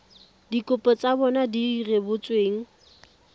dikopo tsa bona di rebotsweng